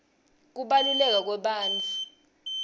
kubaluleka kwebantfu